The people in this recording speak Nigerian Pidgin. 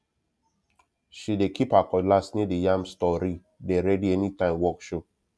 she dey keep her cutlass near the yam storee dey ready anytime work show